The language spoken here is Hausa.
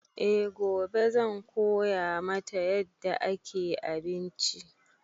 E gobe zan koya mata yadda ake abinci